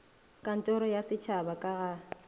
kantoro ya setšhaba ka ga